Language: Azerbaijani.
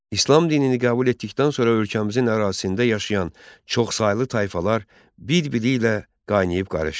İslam dinini qəbul etdikdən sonra ölkəmizin ərazisində yaşayan çoxsaylı tayfalar bir-biri ilə qaynayıb-qarışdı.